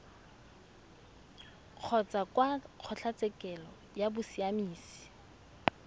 kgotsa kwa kgotlatshekelo ya bosiamisi